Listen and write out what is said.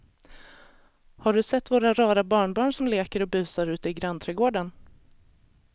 Har du sett våra rara barnbarn som leker och busar ute i grannträdgården!